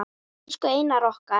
Elsku Einar okkar.